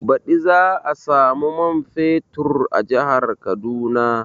Baɗi za a samu man fetur a jihar Kaduna